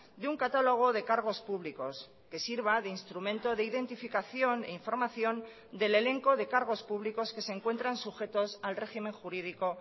de un catálogo de cargos públicos que sirva de instrumento de identificación e información del elenco de cargos públicos que se encuentran sujetos al régimen jurídico